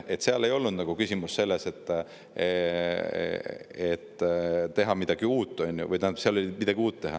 Teie lammutasite.